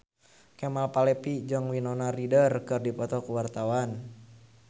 Kemal Palevi jeung Winona Ryder keur dipoto ku wartawan